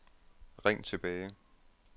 ring tilbage